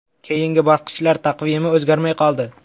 Keyingi bosqichlar taqvimi o‘zgarmay qoldi.